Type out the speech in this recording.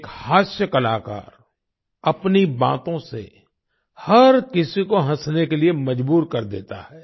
एक हास्य कलाकार अपनी बातों से हर किसी को हंसने के लिए मजबूर कर देता है